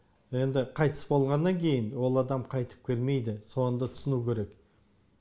енді қайтыс болғаннан кейін ол адам қайтып келмейді соны да түсіну керек